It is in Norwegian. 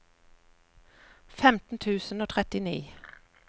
femten tusen og trettini